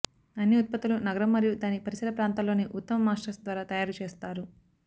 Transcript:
అన్ని ఉత్పత్తులు నగరం మరియు దాని పరిసర ప్రాంతాల్లోని ఉత్తమ మాస్టర్స్ ద్వారా తయారు చేస్తారు